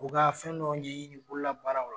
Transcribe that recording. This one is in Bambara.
U ka fɛn dɔ ɲɛɲini bololabaaraw la.